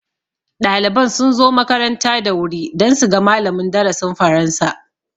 Ɗaliban sun zo makaranta da wuri dan su ga malamin darasin faransa